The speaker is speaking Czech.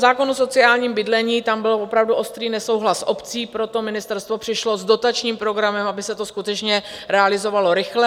Zákon o sociálním bydlení - tam byl opravdu ostrý nesouhlas obcí, proto ministerstvo přišlo s dotačním programem, aby se to skutečně realizovalo rychle.